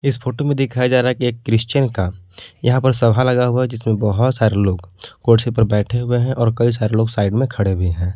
इस फोटो में दिखाया जा रहा है कि एक क्रिश्चियन का यहां पर सभा लगा हुआ हैं जिसमें बहुत सारे लोग कुर्सी पर बैठे हुए और कई सारे लोग साइड में खड़े भी हैं।